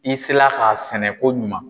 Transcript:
I se la k'a sɛnɛ koɲuman.